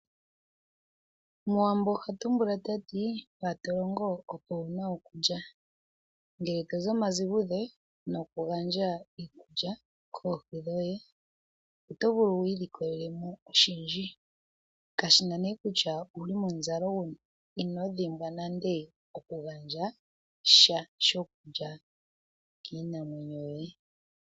Omuwambo ohatumbula tati mpatolongo opo wuna okulya ngele tozi omazigudhe nokugandja iikulya koohi dhoye oto vulu wiilikololemo oshindji kashina nee kutya owuli momuzalo guni. Inodhimbwa nande oku gandja sha shokulya kiinamwenyo yoye.